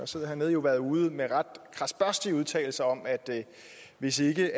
sidder hernede jo været ude med ret kradsbørstige udtalelser om at hvis ikke